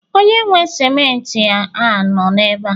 onye nwe simenti a no ebe a?